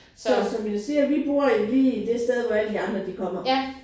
Så som jeg siger vi bor i lige det sted hvor alle de andre de kommer